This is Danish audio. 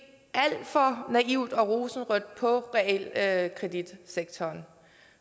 alt for naivt og rosenrødt på realkreditsektoren